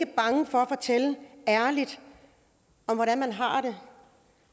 bange for at fortælle ærligt om hvordan man har det